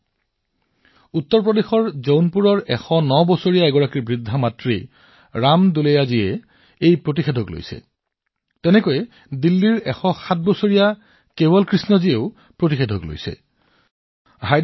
ইউপিৰ ৰাম দুলেয়াজীয়ে ১০৯ বছৰীয়া বৃদ্ধা মাতৃৰ টীকাকৰণ কৰিছে দিল্লীতো ১০৭ বছৰ বয়সীয়া কেৱল কৃষ্ণ জীয়ে ভেকছিনৰ পালি গ্ৰহণ কৰিছে